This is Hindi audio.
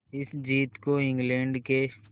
इस जीत को इंग्लैंड के